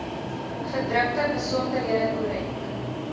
gedrukte besonderhede korrek